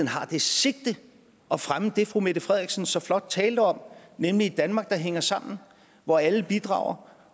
har det sigte at fremme det fru mette frederiksen så flot talte om nemlig et danmark der hænger sammen hvor alle bidrager